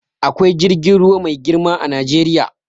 Akwai jirgin ruwa mai girma a Najeriya.